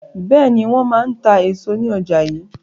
Bẹ́ẹ̀ni, wọn máa ń ta èso ní ọjà yii.